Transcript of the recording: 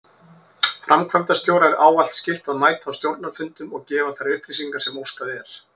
Framkvæmdastjóra er ávallt skylt að mæta á stjórnarfundum og gefa þær upplýsingar sem óskað er.